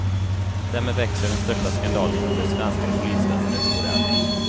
Därmed växer den största skandalen inom det svenska polisväsendet i modern tid.